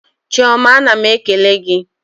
Chiọma ana m ekele gị.